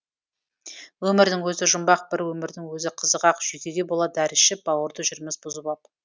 өмірдің өзі жұмбақ бір өмірдің өзі қызық ақ жүйкеге бола дәрі ішіп бауырды жүрміз бұзып ап